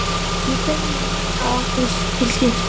Ég þegi og horfi á þau til skiptis.